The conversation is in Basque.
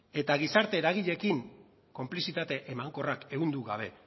eta gizarte eragileekin konplizitate emankorrak ehundu gabe